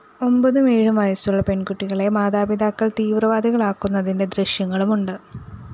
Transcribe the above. ഒമ്പതും ഏഴും വയസുളള പെണ്‍കുട്ടികളെ മാതാപിതാക്കള്‍ തീവ്രവാദികളാക്കുന്നതിന്റെ ദൃശ്യങ്ങളും ഉണ്ട്